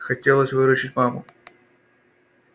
хотелось выручить маму